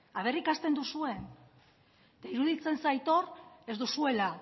ea ikasten duzuen eta iruditzen zait hor ez duzuela